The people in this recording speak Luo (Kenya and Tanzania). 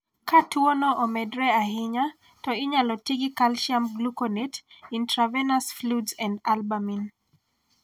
Ka tuo no omedre ahinya ,to inyalo ti gi calcium gluconate, intravenous fluids, and albumin.